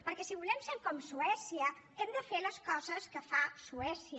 perquè si volem ser com suècia hem de fer les coses que fa suècia